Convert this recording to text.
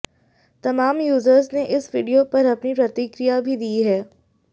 तमाम यूजर्स ने इस वीडियो पर अपनी प्रतिक्रिया भी दी है